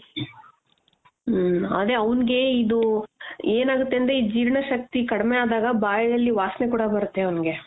ಹ್ಮ್ಅವ್ಙ್ಗೆ ಇದು ಏನಾಗುತ್ತೆ ಅಂದ್ರೆ ಈ ಜೀರ್ಣಶಕ್ತಿ ಕಡ್ಮೆ ಆದಾಗ ಬಾಯಲ್ಲಿ ವಾಸನೆ ಕೂಡ ಬರುತ್ತೆ ಅವ್ಙ್ಗೆ.